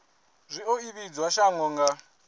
zwi o ivhadzwa shango nga